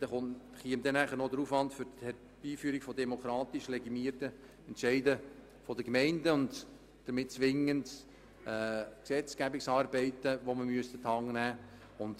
Hinzu käme der Aufwand für das Herbeiführen von demokratisch legitimierten Entscheiden der Gemeinden und somit zwingend an die Hand zu nehmende Gesetzgebungsarbeiten.